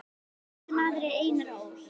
Þessi maður er Einar Ól.